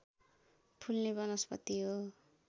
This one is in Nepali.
फुल्ने वनस्पति हो